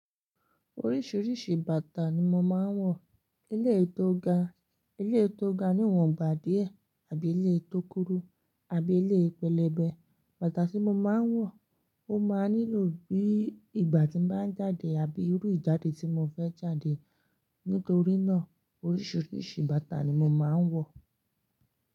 Oríṣiríṣi bàtà ni mo máa ń wọ̀, eléyìí to ga Ilé tó ga, ilé tó ga níwọ̀n gba díẹ̀ àbí ilé tó kúrú àbí ilé pẹlẹbẹ. Bàtà tí mo máa ń wọ̀ ó máa nílò bí ìgbà tí mo bá ń jáde àbí irú ìjáde tí mo fẹ́ jáde. Nítorí náà oríṣiríṣi bàtà ni mo máa ń wọ̀